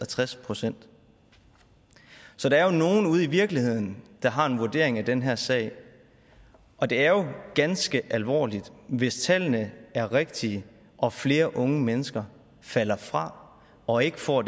tres procent så der er jo nogle ude i virkeligheden der har en vurdering af den her sag og det er ganske alvorligt hvis tallene er rigtige og flere unge mennesker falder fra og ikke får